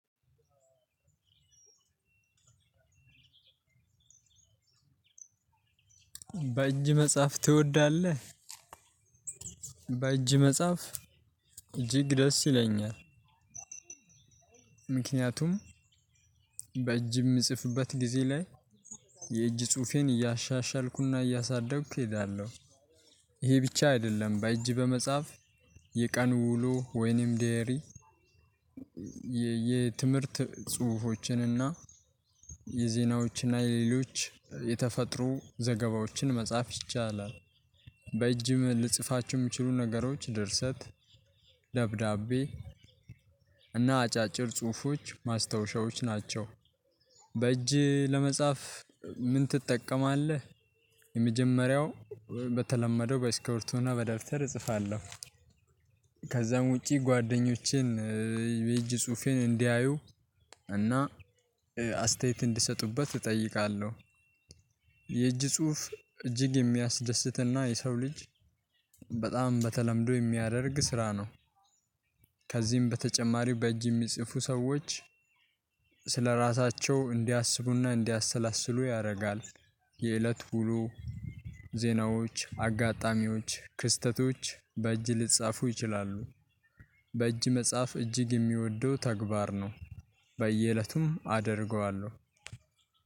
በእጅ መጽሐፍ ትወዳለህ? በእጅ መጽሐፍ እጅግ ደስ ይለኛል። ምክንያቱም በእጅ የምጽፍበት ጊዜ ላይ የእጅ ጽሁፌን እያሻሻልኩና እያሳደግኩ እሄዳለሁ። ይሄ ብቻ አይደለም በእጅ በመጻፍ የቀኑ ውሎ ወይንም ዴያሪ- የትምህርት ጽሁፎችን እና የዘናዎችን እና የሌሎች የተፈጥሮ ዘገባዎችን መጻፍ ይቻላል። በእጅ ልንጽፋቸው የሚችሉ ነገሮች ድርሰት- ደብዳቤ እና አጫጭር ጽሁፎች ማስታወሻዎች ናቸው። በእጅ ለመጻፍ ምን ትጠቀማለህ? የመጀመሪያው በተለመደው በስክብርቶ ና በደብተር እጽፋለሁ። ከዛም ውጪ ጓደኞቼን የጅ ጽሁፌን እንዲያዩ እና አስተያየት እንድሰጡበት እጠይቃለሁ። የእጅ ጽሁፍ እጅግ የሚያስደስትና የሰው ልጅ በጣም በተለምዶ የሚያደርግ ስራ ነው። ከዚህም በተጨማሪው በእጅ የሚጽፉ ሰዎች ስለራሳቸው እንዲያስቡ ና እንዲያሰላስሉ ያደርጋል። የእለት ውሎ ዜናዎች፣ አጋጣሚዎች ክስተቶች በእጅ ሊጻፉ ይችላሉ። በእጅ መጽሐፍ እጅግ የምወደው ተግባር ነው። በየእለቱም አደርገዋለሁ።